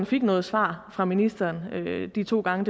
fik noget svar fra ministeren de to gange